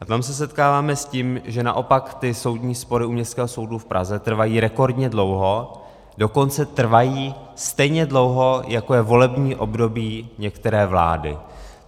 A tam se setkáváme s tím, že naopak ty soudní spory u Městského soudu v Praze trvají rekordně dlouho, dokonce trvají stejně dlouho, jako je volební období některé vlády.